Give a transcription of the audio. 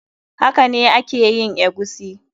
Hakane a ke yin eguisi.